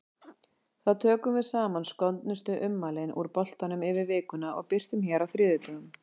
Þá tökum við saman skondnustu ummælin úr boltanum yfir vikuna og birtum hér á þriðjudögum.